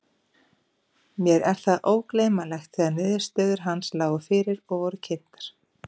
Mér er það ógleymanlegt þegar niðurstöður hans lágu fyrir og voru kynntar.